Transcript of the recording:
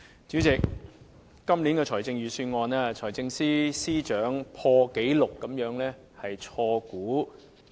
主席，在今年的財政預算案，財政司司長錯誤估算的盈餘破了紀錄。